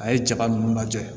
A ye jaba nunnu lajɛ